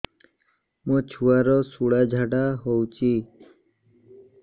ମୋ ଛୁଆର ସୁଳା ଝାଡ଼ା ହଉଚି